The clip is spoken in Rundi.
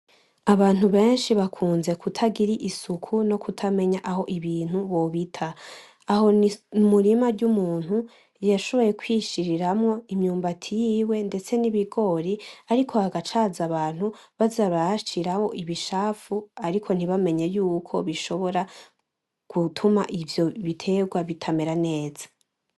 Abantu benshi bakunze kutagira isuku no kutamenya aho ibintu bobita, aho ni umurima w'umuntu yashoboye kwishiriramwo imyumbati yiwe ndetse n'ibigori, ariko hagaca haza abantu baza barahashiraho ibicafu ariko ntibamenye yuko bishobora gutuma ivyo biterwa bitamera neza.